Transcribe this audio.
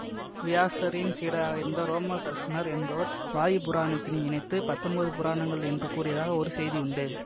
வியாசரின் சீடராக இருந்த ரோமஹர்ஷனர் என்பவர் வாயு புராணத்தினை இணைத்து பத்தொன்பது புராணங்கள் என்று கூறியதாக ஒரு செய்தியுண்டு